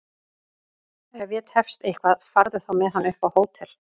Ef ég tefst eitthvað farðu þá með hann upp á hótel!